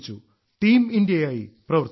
team ഇന്ത്യയായി പ്രവർത്തിച്ചു